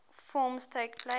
forms takes place